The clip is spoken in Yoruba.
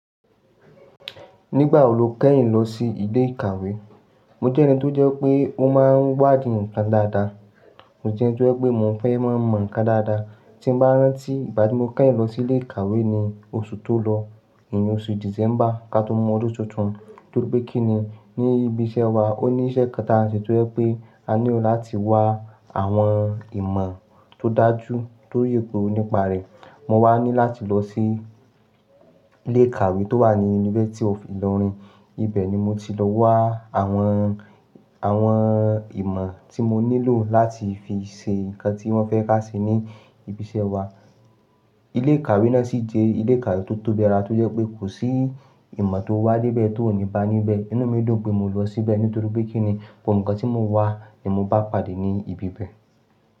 Nígbà wo lo kẹ́yìn lọ sí ilé ìkàwé? Mo jẹ́ ẹni tó jẹ́ pé ó máa ń wádìí nǹkan dáadáa. Mo jẹ́ ẹni tó jẹ́ pé mo fẹ́ má mọ nǹkan dáadáa. Tí n bá rántí ìgbà tí mo kẹ́yìn lọ sí ilé ìkàwé ni oṣù tó lọ, ìyẹn oṣù December ká tó mú ọdún tuntun. Torí pé kí ni, ní ibi iṣẹ́ wa ó ní iṣẹ́ kan tí a ń ṣe tó jẹ́ pé a nílò láti wá àwọn ìmọ̀ tó dájú tó yè kooro nípa rẹ̀. Mo wá ní láti lọ sí ilé ìkàwé tó wà ní Yunifásítì of Ìlọrin Ibẹ̀ ni mo ti lọ wá àwọn, àwọn ìmọ̀ tí mo nílò láti fi ṣe nǹkan tí wọ́n fẹ́ ká ṣe ní ibi iṣẹ́ wa. Ilé ìkàwé náà sì jẹ́ ilé ìkàwé tó tóbi dáadáa tó jẹ́ pé kò sí ìmọ̀ tóo wá dé bẹ̀ tó ò níba níbẹ̀. Inú mi dùn pé mo lọ síbẹ̀ nítorí pé kí ni, gbogbo nǹkan tí mò ń wá ni mo bá pàdé ní ibi bẹ̀